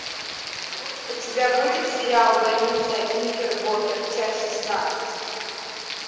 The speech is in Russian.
у тебя будет сериал больница никербокер часть шестнадцать